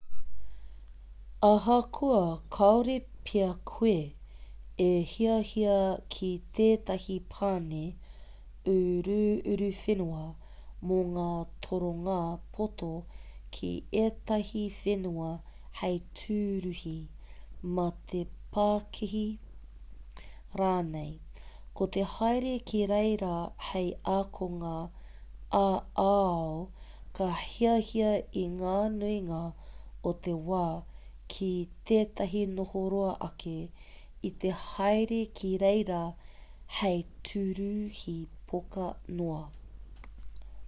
ahakoa kāore pea koe e hiahia ki tētahi pane uruuruwhenua mō ngā toronga poto ki ētahi whenua hei tūruhi mā te pakihi rānei ko te haere ki reira hei ākonga ā-ao ka hiahia i te nuinga o te wā ki tētahi noho roa ake i te haere ki reira hei tūruhi poka noa